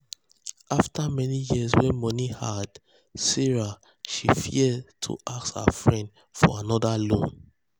after many years wey money hard sarah she fear to ask her friends for another loan.